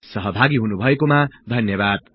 सहभागि हुनु भएकोमा धन्यबाद्